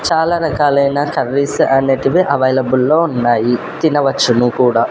చాలా రకాలైన కర్రీస్ అనేటివి అవైలబుల్ లో ఉన్నాయి తినవచ్చును కూడా.